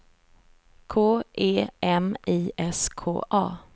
K E M I S K A